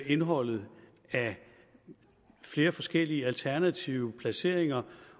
indholdet af flere forskellige alternative placeringer